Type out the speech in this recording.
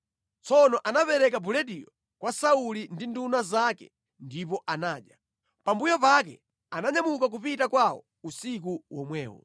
Tsono anapereka bulediyo kwa Sauli ndi nduna zake ndipo anadya. Pambuyo pake ananyamuka kupita kwawo usiku womwewo.